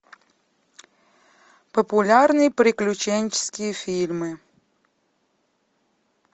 популярные приключенческие фильмы